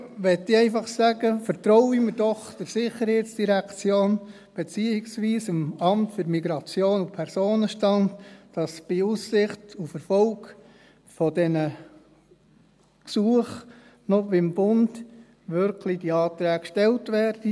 Jetzt will ich einfach sagen: Vertrauen wir doch der SID, beziehungsweise dem MIP, dass bei Aussicht auf Erfolg dieser Gesuche dem Bund diese Anträge auch wirklich gestellt werden.